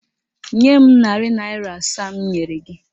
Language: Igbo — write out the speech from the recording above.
Nye m narị naịra asaa m nyere gị!